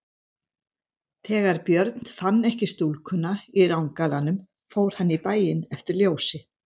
Þegar Björn fann ekki stúlkuna í rangalanum fór hann í bæinn eftir ljósi.